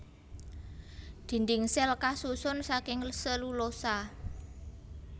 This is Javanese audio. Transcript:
Dhindhing sèl kasusun saking selulosa